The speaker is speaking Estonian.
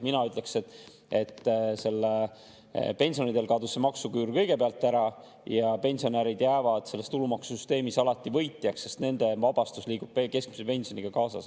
Mina ütleksin, et kõigepealt kadus see maksuküür pensionäridel ära ja pensionärid jäävad selles tulumaksusüsteemis alati võitjaks, sest nende vabastus liigub keskmise pensioniga kaasas.